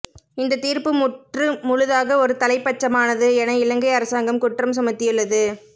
இந்தத் தீர்ப்பு முற்று முழுதாக ஒருதலைப்பட்சமானது என இலங்கை அரசாங்கம் குற்றம் சுமத்தியுள்ளது